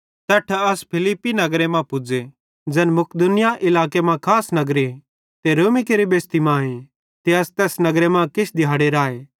तैट्ठां असां फिलिप्पी नगरे मां पुज़े ज़ैन मकिदुनिया इलाके मां खास नगरे ते रोमी केरि बेसती मांए ते अस तैस नगरे मां किछ दिहाड़े राए